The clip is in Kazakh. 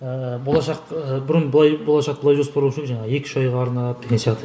ыыы болашақ ы бұрын былай болашақты былай жоспарлаушы едік жаңа екі үш айға арнап деген сияқты